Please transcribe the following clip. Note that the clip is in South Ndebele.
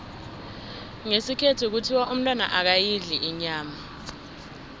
ngesikhethu kuthiwa umntwana akayidli inyama